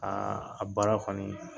Aa a baara kɔnii